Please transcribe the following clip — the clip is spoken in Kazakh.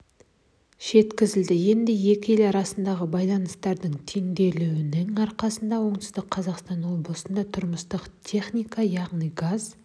жеткізілді енді екі ел арасындағы байланыстардың тереңдеуінің арқасында оңтүстік қазақстан облысында тұрмыстық техника яғни газ